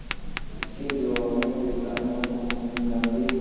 इसके जवाब में ब्रितानी हुकूमत ने गांधी